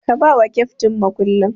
Ka bawa keftin mukullin.